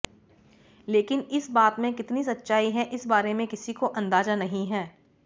लेकिन इस बात में कितनी सच्चाई है इस बारे में किसी को अंदाजा नहीं है